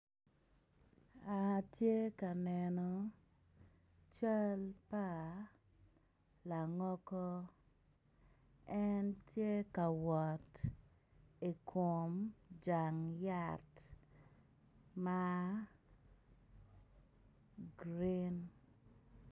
Atye ka neno cal pa langogo en tye ka wot ikom jang yat ma grin.